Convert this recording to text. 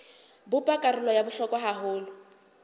bopa karolo ya bohlokwa haholo